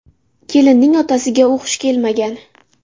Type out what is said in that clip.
Kelinning otasiga u xush kelmagan.